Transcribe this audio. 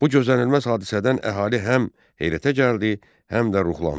Bu gözlənilməz hadisədən əhali həm heyrətə gəldi, həm də ruhlandı.